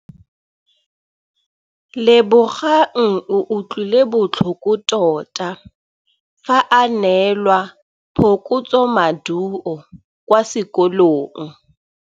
Lebogang o utlwile botlhoko tota fa a neelwa phokotsômaduô kwa sekolong.